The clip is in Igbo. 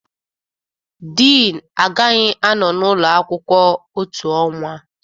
Dean agaghị anọ n'ụlọ akwụkwọ otu ọnwa.